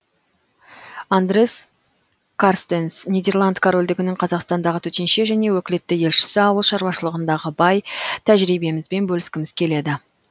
андре карстенс нидерланд корольдігінің қазақстандағы төтенше және өкілетті елшісі ауыл шаруашылығындағы бай тәжірибемізбен бөліскіміз келеді